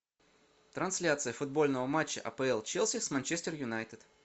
трансляция футбольного матча апл челси с манчестер юнайтед